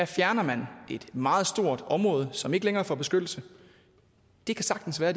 fjerner man et meget stort område som ikke længere får beskyttelse det kan sagtens være